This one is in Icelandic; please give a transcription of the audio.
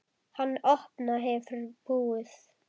Hann opna hefur búð.